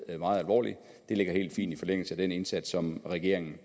meget alvorligt det ligger helt fint i forlængelse af den indsats som regeringen